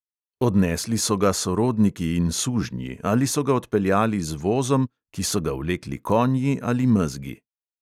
Odnesli so ga sorodniki in sužnji ali so ga odpeljali z vozom, ki so ga vlekli konji ali mezgi.